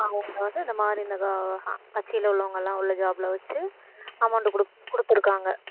வந்து அந்த மாதிரி இந்த கட்சியில உள்ளவங்கெல்லாம் உள்ள job ல வச்சு amount குடுத்திருக்காங்க